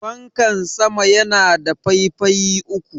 fankan sama yana da faifayi uku